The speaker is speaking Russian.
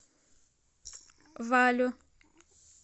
валю